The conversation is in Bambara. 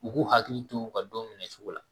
U k'u hakili to u ka don minɛ cogo la